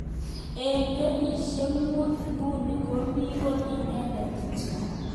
Eng kenyishek mut nguni komi kot inendet kityo.